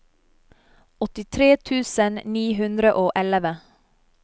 åttitre tusen ni hundre og elleve